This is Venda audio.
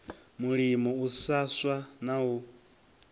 mulimo u swa na u